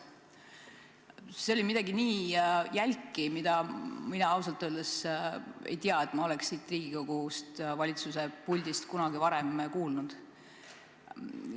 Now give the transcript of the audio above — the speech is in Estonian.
See oli midagi nii jälki, et mina ausalt öeldes ei tea, et ma oleks siin Riigikogus valitsuse esindajalt kunagi varem midagi säärast kuulnud.